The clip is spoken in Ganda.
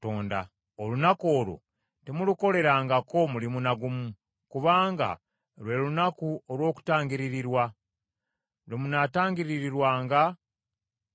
Omuntu yenna anaagaananga okwefiiriza ku lunaku olwo kinaamugwaniranga okuwaŋŋangusibwa n’aggyibwa mu banne.